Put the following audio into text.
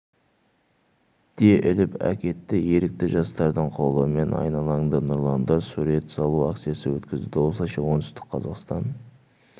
де іліп әкетті ерікті жастардың қолдауымен айналаңды нұрландыр сурет салу акциясы өткізілді осылайша оңтүстік қазақстан